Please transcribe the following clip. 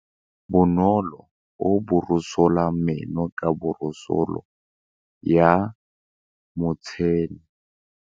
Bonolô o borosola meno ka borosolo ya motšhine.